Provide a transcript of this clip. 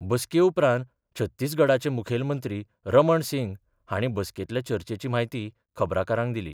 बसके उपरांत छत्तीसगडाचे मुखेलमंत्री रमण सिंग हाणी बसकेतल्या चर्चेची म्हायती खबराकारांक दिली.